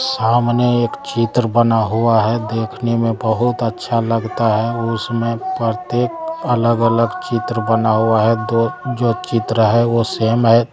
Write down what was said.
सामने एक चित्र बना हुआ है देखने में बहोत अच्छा लगता है उसमें प्रत्येक अलग-अलग चित्र बना हुआ है दो जो चित्र हैं वो सेम है।